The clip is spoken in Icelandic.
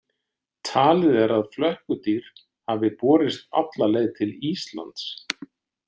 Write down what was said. Talið er að flökkudýr hafi borist alla leið til Íslands.